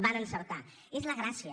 van encertar és la gràcia